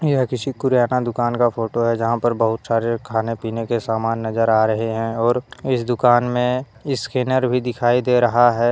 मैं किसी किराना दुकान का फोटो है जहां पर बहुत सारे खाने पीने के समान नजर आ रहे हैं और इस दुकान में स्कैनर भी दिखाई दे रहा है।